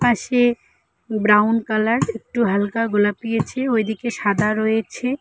পাশে brown colour একটু হালকা গোলাপি আছে ওই দিকে সাদা রয়েছে।